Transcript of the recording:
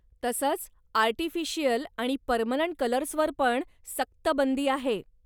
तसंच, आर्टिफिशियल आणि पर्मनंट कलर्सवर पण सक्त बंदी आहे!